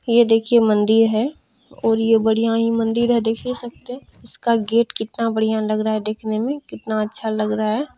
ये देखिये मंदिर है और ये बढ़िया ही मंदिर है देख ही सकते हैं इसका गेट कितना बढ़िया लग रहा है देखने में कितना अच्छा लग रहा है।